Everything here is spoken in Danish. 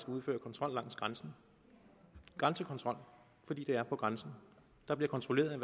skal udføre kontrol langs grænsen grænsekontrol fordi det er på grænsen der bliver kontrolleret